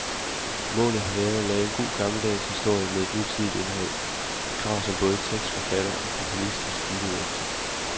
Målet har været at lave en god gammeldags historie med et nutidigt indhold, et krav som både tekstforfatter og komponist har stilet efter.